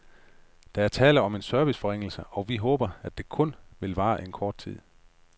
Der er tale om en serviceforringelse, og vi håber, at den kun skal vare kort tid.